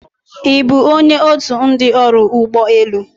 Ị bụ onye otu ndị ọrụ ụgbọ elu?